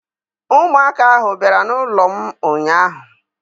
Ụmụaka ahụ bịara n'ụlọ m ụnyaahụ.